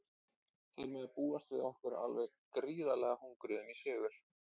Þeir mega búast við okkur alveg gríðarlega hungruðum í sigur.